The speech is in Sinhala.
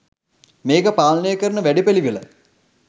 මේක පාලනය කරන වැඩපිළිවෙල